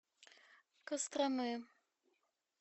костромы